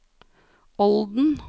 Olden